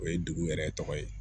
O ye degun yɛrɛ tɔgɔ ye